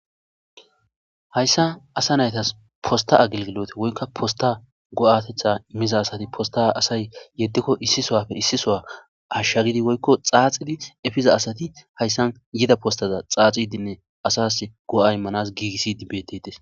Hayssa asa naytas posta agilgilote woykka posta go'tetha immiza asati posta asay yeddikko issi sowafe issi sowa hashshagidi woykko xaaxidi efiza asati hayssan yida postaza xaaxidinne asas go'y manas giigissidi betetes.